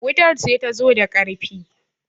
wutar ce ta zo da ƙarfi